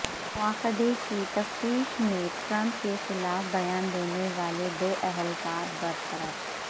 مواخذے کی تفتیش میں ٹرمپ کے خلاف بیان دینے پر دو اہل کار برطرف